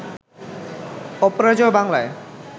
অপরাজেয় বাংলায়